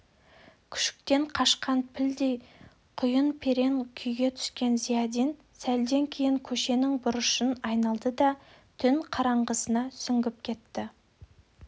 күшіктен қашқан пілдей құйын-перен күйге түскен зиядин сәлден кейін көшенің бұрышын айналды да түн қараңғысына сүңгіп кетті